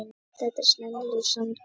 Þetta eru sennilega sanngjörn úrslit.